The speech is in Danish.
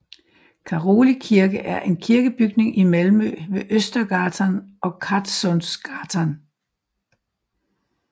Caroli Kirke er en kirkebygning i Malmø ved Östergatan og Kattsundsgatan